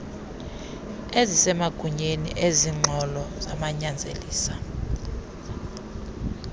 ezisemagunyeni ezinengxolo zanyanzelisa